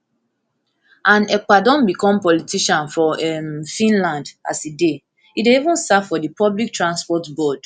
and ekpa don become politician for um finland as e dey e dey even serve for di public transport board